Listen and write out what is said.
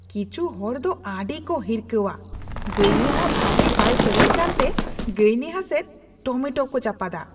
ᱠᱤᱪᱷᱩ ᱦᱚᱲ ᱫᱚ ᱟᱹᱰᱤᱠᱚ ᱦᱤᱨᱠᱷᱟᱹᱣᱟ ᱾ ᱜᱟᱭᱱᱟᱦᱟ ᱵᱷᱟᱜᱮ ᱵᱟᱭ ᱥᱮᱨᱮᱧ ᱠᱟᱱᱛᱮ ᱜᱟᱭᱱᱟᱦᱟ ᱥᱮᱡ ᱴᱚᱢᱮᱴᱳ ᱠᱚ ᱪᱟᱯᱟᱫᱟ ᱾